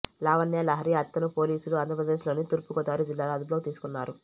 లావణ్య లహరి అత్తను పోలీసులు ఆంధ్రప్రదేశ్ లోని తూర్పు గోదావరి జిల్లాలో అదుపులోకి తీసుకున్నారు